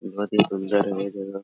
बहुत ही सुन्दर है वो --